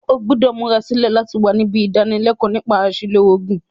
O gbúdò múra sílẹ̀ láti wa nibí ìdánilékóò nípa àsìlò ògùn